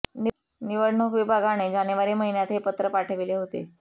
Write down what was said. निवडणूक विभागाने जानेवारी महिन्यात हे पत्र पाठविले होते